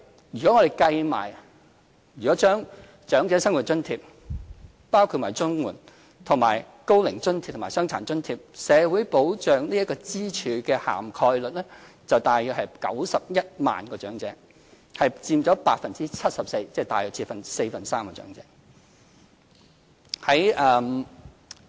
如果將長者生活津貼連同綜援，以及高齡津貼和傷殘津貼，社會保障支柱的覆蓋率為接近約91萬名長者，佔 74%， 即大約四分之三的長者。